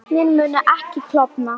Vötnin munu ekki klofna